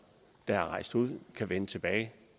der er rejst ud kan vende tilbage